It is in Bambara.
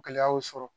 Gɛlɛya y'o sɔrɔ